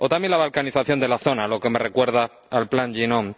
O también la balcanización de la zona, lo que me recuerda al plan Yinon.